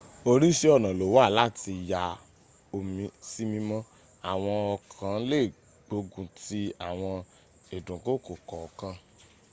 orísìí ọ̀nà lówà láti ya omi sí mímọ́ àwọn ọ̀kan lè gbógun ti àwọn ìdúnkokò kọ̀ọ̀kan